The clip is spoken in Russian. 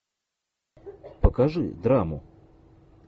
покажи драму